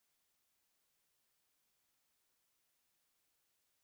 Ceviche bụ nri Latin Amerika